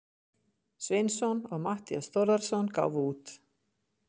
Sveinsson og Matthías Þórðarson gáfu út.